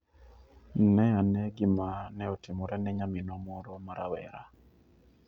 Ne ane gima ne otimore ne nyaminwa moro ma rawera.